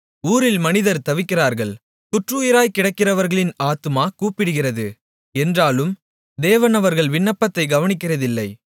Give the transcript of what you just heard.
ஊரில் மனிதர் தவிக்கிறார்கள் குற்றுயிராய்க்கிடக்கிறவர்களின் ஆத்துமா கூப்பிடுகிறது என்றாலும் தேவன் அவர்கள் விண்ணப்பத்தைக் கவனிக்கிறதில்லை